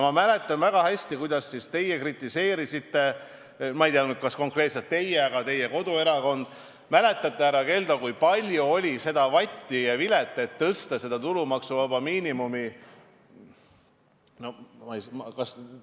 Ma mäletan väga hästi, kuidas teie siis seda kritiseerisite – ma ei tea nüüd, kas konkreetselt teie, aga teie koduerakond küll – ning kui palju oli vatti ja vilet tulumaksuvaba miinimumi tõstmise ümber.